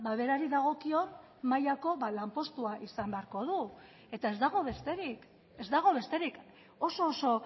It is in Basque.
berari dagokion mailako lanpostua izan beharko du eta ez dago besterik ez dago besterik oso oso